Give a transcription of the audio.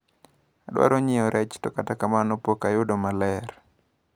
Adwaro nyiewo rech to kata kamano pok ayudo maler.